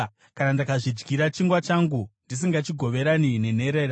kana ndakazvidyira chingwa changu, ndisingachigoverani nenherera,